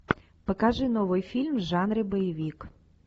покажи новый фильм в жанре боевик